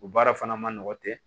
O baara fana man nɔgɔn ten